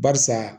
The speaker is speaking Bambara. Barisa